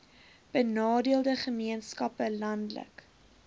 benadeelde gemeenskappe landelike